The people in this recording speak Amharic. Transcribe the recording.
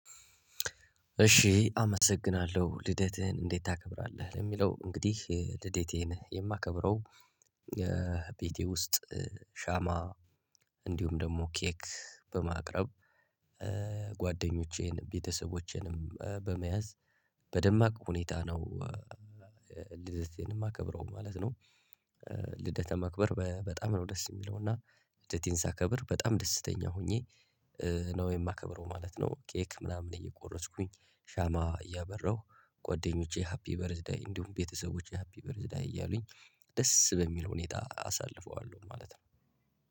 እሺ አመሰግናለሁ። "ልደትህን እንዴት ታከብራለህ?" ለሚለው እንግዲህ ልደቴን የማከብረው ቤቴ ውስጥ ሻማ እንዲሁም ደግሞ ኬክ በማቅረብ ጓደኞቼን ቤተሰቦቼንም በመያዝ በደማቅ ሁኔታ ነው ልደቴን የማከብረው ማለት ነው። ልደት ማክበር በጣም ነው ደስ የሚለው እና ልደቴን ሳከብር በጣም ደስተኛ ሆኜ ነው የማከብረው ማለት ነው። ኬክ ምናምን እየቆረስኩኝ ሻማ እያበራሁ ጓደኞቼ ሃፒ በርዝደይ እንዲሁም ቤተሰቦቼ ሃፒ በርዝደይ እያሉኝ ደስ በሚል ሁኔታ አሳልፈዋለሁ ማለት ነው።